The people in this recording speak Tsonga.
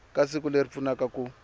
ka siku leri pfunaka ku